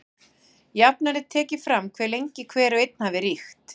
Jafnan er tekið fram hve lengi hver og einn hafi ríkt.